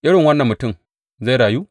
Irin wannan mutum zai rayu?